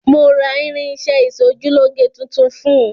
Mo ra irin-iṣẹ́ ẹ ìsojúlóge tuntun fún un.